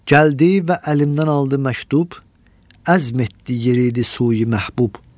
Gəldi və əlimdən aldı məktub, əzm etdi yeridi suyi-məhbub.